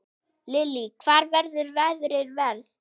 Lillý: Hvar verður veðrið verst?